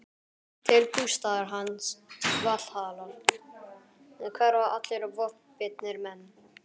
Til bústaðar hans, Valhallar, hverfa allir vopnbitnir menn.